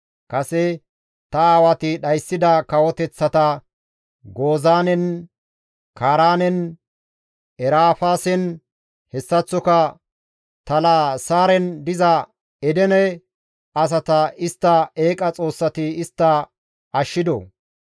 Kase ta aawati dhayssida kawoteththata Gozaanen, Kaaraanen, Erafaasen hessaththoka Talasaaren diza Edene asata istta eeqa xoossati istta ashshidoo?